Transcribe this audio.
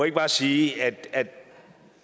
ikke bare sige at